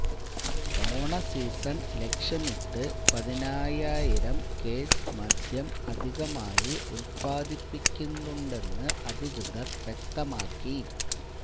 ഓണ സീസണ് ലക്ഷ്യമിട്ട് പതിനയ്യായിരം കേസ് മദ്യം അധികമായി ഉല്പാദിപ്പിക്കുന്നുണ്ടെന്ന് അധികൃതര് വ്യക്തമാക്കി